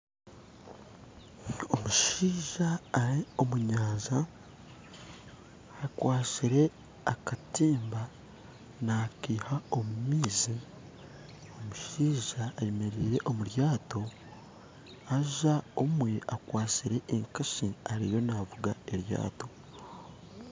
Omushaija ari omu nyanja akwastire akatimba nakaiha omu maizi. Omushaija ayemereire omu ryato haza omwe akwastire enkasi ariyo navuga eryato